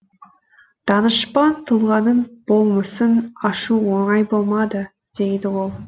данышпан тұлғаның болмысын ашу оңай болмады дейді ол